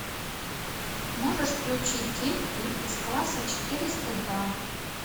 можешь включить детки из класса четыреста два